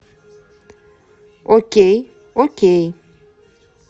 окей окей